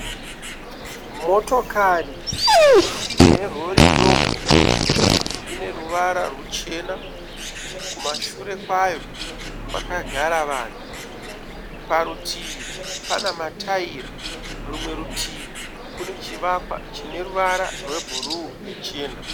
Motokari yerori doko ine ruvara ruchena kumashure kwayo kwakagara vanhu. Parutivi pana mataira rumwe rutivi kune chivakwa chine ruvara rwebhuruu nechina.